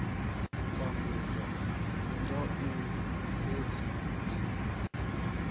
tambudzwa ndi nga u sedzulusa